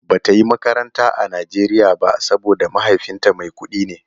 Bata yi makaranta a Nigeria ba saboda mahaifinta mai kudi ne.